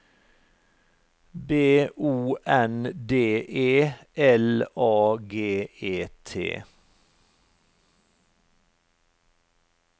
B O N D E L A G E T